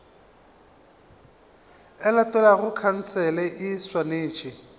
e latelago khansele e swanetše